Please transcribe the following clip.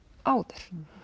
áður